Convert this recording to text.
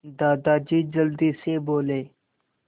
दादाजी जल्दी से बोले